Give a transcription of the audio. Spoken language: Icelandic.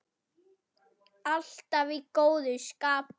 Alltaf í góðu skapi.